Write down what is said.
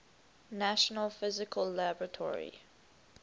national physical laboratory